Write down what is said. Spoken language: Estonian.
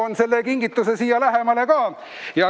Toon selle kingituse siia lähemale.